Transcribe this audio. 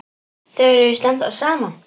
Þau eru víst ennþá saman.